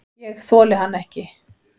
Ég þoli hann ekki.